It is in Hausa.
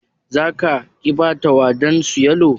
za ka/ki Bata wadansu yalo?